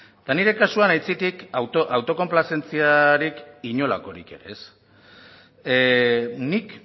eta nire kasuan aitzitik auto konplazentziarik inolakorik ere ez nik